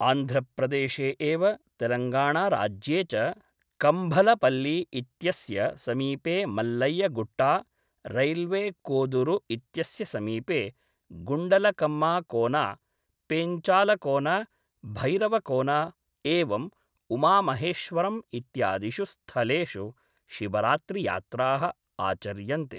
आन्ध्रप्रदेशे एव तेलङ्गाणाराज्ये च कम्भलपल्लि इत्यस्य समीपे मल्लय्य गुट्टा, रैल्वे कोदुरु इत्यस्य समीपे गुंडलकम्मा कोना, पेंचालकोन, भैरवकोन, एवं उमा महेश्वरम् इत्यादिषु स्थलेषु शिवरात्रियात्राः आचर्यन्ते।